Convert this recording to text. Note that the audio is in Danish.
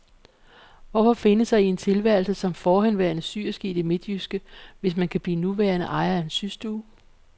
Hvorfor finde sig i en tilværelse som forhenværende syerske i det midtjyske, hvis man kan blive nuværende ejer af en systue?